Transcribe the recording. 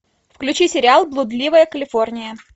включи сериал блудливая калифорния